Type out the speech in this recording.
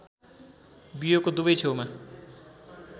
बियोको दुवै छेउमा